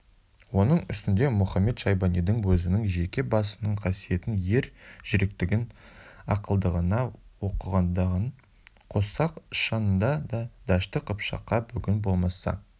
оның үстінде мұхамед-шайбанидың өзінің жеке басының қасиетін ер жүректігін ақылдылығын оқығандығын қоссақ шынында да дәшті қыпшаққа бүгін болмаса